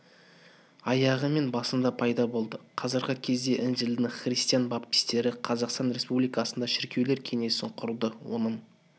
аяғы мен басында пайда болды қазіргі кезде інжілдің христиан баптистері қазақстан республикасындағы шіркеулер кеңесін құрды оның